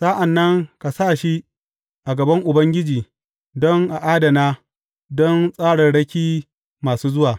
Sa’an nan ka sa shi a gaban Ubangiji, don a adana don tsararraki masu zuwa.